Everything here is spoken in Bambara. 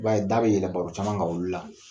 U b'a ye da bɛ yɛlɛ baro caman ka olu la